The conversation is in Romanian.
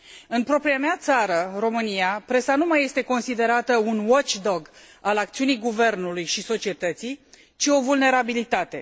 În propria mea țară, România, presa nu mai este considerată un watchdog al acțiunii guvernului și societății, ci o vulnerabilitate.